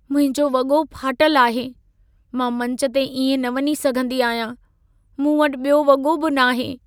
मुंहिंजो वॻो फाटल आहे। मां मंच ते इएं न वञी सघंदी आहियां। मूं वटि ॿियो वॻो बि न आहे।